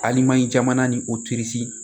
Alimayi jamana ni o